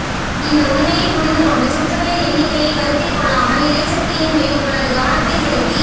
இந்த உண்மையைப் புரிந்து கொண்டு சுற்றுகளின் எண்ணிக்கையை கருத்தில் கொள்ளாமல் இறைசக்திகளின் மேல் உங்களது கவனத்தை செலுத்தி